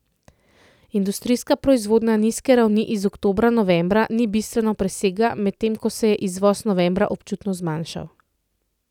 Industrijska proizvodnja nizke ravni iz oktobra novembra ni bistveno presegla, medtem ko se je izvoz novembra občutno zmanjšal.